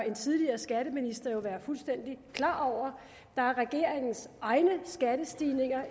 en tidligere skatteminister jo være fuldstændig klar over regeringens egne skattestigninger